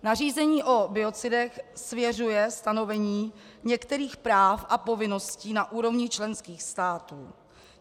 Nařízení o biocidech svěřuje stanovení některých práv a povinností na úrovni členských států.